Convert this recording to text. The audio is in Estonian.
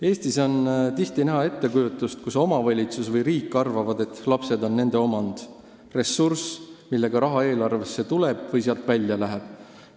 Eestis on tihti näha, et omavalitsus või riik arvavad, nagu lapsed oleksid nende omand, ressurss, mille abil raha eelarvesse tuleb või mille tõttu see sealt välja läheb.